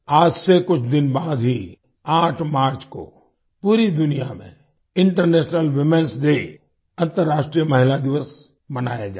आज से कुछ दिन बाद ही 8 मार्च को पूरी दुनिया में इंटरनेशनल womenएस डे अंतर्राष्ट्रीय महिला दिवस मनाया जाएगा